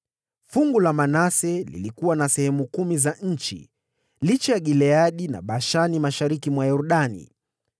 Fungu la Manase lilikuwa na sehemu kumi za nchi, licha ya Gileadi na Bashani mashariki mwa Yordani,